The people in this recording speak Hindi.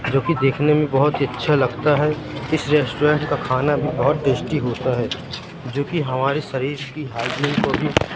जो कि देखने में बहुत ही अच्छा लगता है इस रेस्टोरेंट का खाना भी बहुत टेस्टी होता है जो कि हमारे शरीर की हाइजीन को भी--